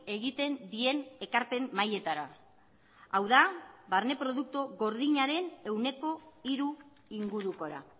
egiten dien ekarpen mailetara hau da barne produktu gordinaren ehuneko hiru ingurukora